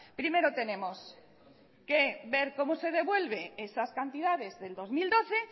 primero tenemos que ver cómo se devuelve esas cantidades del dos mil doce